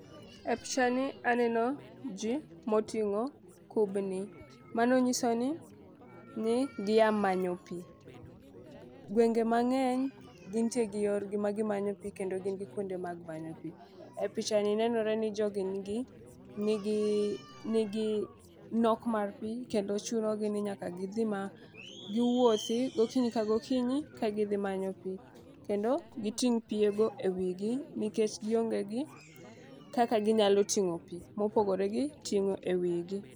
E picha ni aneno jii moting'o kubni mano nyiso ni ni gia manyo pii .Gwenge mang'eny gintie gi yor gi magimanyo pii kendo gin gi kuonde mag manyo pii . E picha ni nenore ni jogi nigi nigi nok mar piii kendo chunogi ni nyaka gidhi ma giwuothi gokinyi ka gokinyi ka gidhi anyo pii kendo giting' pii ewigi nikech gionge gi kaka ginyalo ting'o pii mopogore gi ting'o e wigi.